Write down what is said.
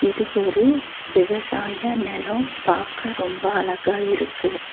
இது ஒரு விவசாய நெலம் பாக்க ரொம்ப அழகா இருக்கு.